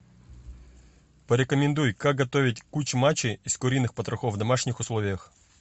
порекомендуй как готовить кучмачи из куриных потрохов в домашних условиях